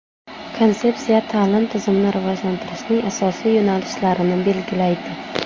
Konsepsiya ta’lim tizimini rivojlantirishning asosiy yo‘nalishlarini belgilaydi.